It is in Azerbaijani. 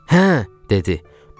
Hə, dedi.